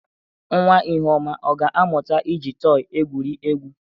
Nwa Ihuoma ọ ga-amụta iji tọị egwuri egwu?